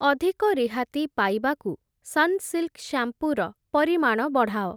ଅଧିକ ରିହାତି ପାଇବାକୁ ସନ୍‌ସିଲ୍‌କ୍‌ ଶ୍ୟାମ୍ପୂ ର ପରିମାଣ ବଢ଼ାଅ ।